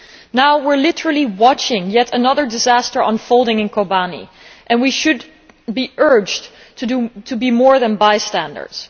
Now we are literally watching yet another disaster unfolding in Kobane, and we should be urged to be more than bystanders.